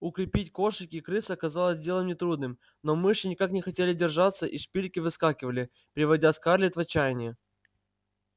укрепить кошек и крыс оказалось делом нетрудным но мыши никак не хотели держаться и шпильки выскакивали приводя скарлетт в отчаяние